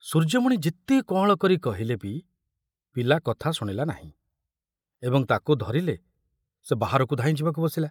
ସୂର୍ଯ୍ୟମଣି ଯେତେ କଅଁଳ କରି କହିଲେ ବି ପିଲା କଥା ଶୁଣିଲା ନାହିଁ, ଏବଂ ତାକୁ ଧରିଲେ ସେ ବାହାରକୁ ଧାଇଁ ଯିବାକୁ ବସିଲା।